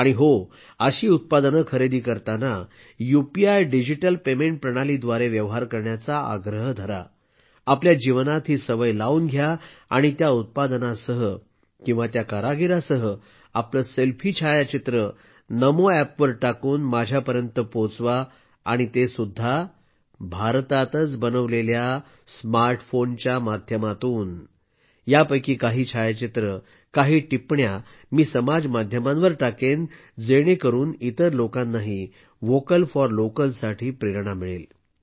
आणि हो अशी उत्पादनं खरेदी करताना यूपीआय डिजिटल पेमेंट प्रणालीद्वारे व्यवहार करण्याचा आग्रह करा आपल्या जीवनात ही सवय लावून घ्या आणि त्या उत्पादनासह किंवा त्या कारागिरासह आपलं सेल्फी छायाचित्र नमो अॅप वर टाकून माझ्यापर्यंत पोहोचवा आणि ते सुद्धा भारतातच बनवलेल्या स्मार्टफोनच्या माध्यमातून मी यापैकी काही छायाचित्रं काही टिप्पण्या समाजमाध्यमांवर टाकेन जेणेकरून इतर लोकांनाही व्होकल फॉर लोकलसाठी प्रेरणा मिळेल